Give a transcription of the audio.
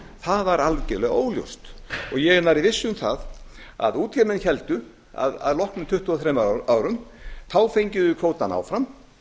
það væri algerlega óljóst og ég er nærri viss um það að úr því að menn héldu að loknum tuttugu og þremur árum fengjum við kvótann áfram